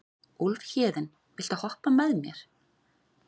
Úlfhéðinn, viltu hoppa með mér?